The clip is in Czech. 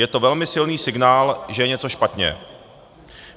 Je to velmi silný signál, že je něco špatně.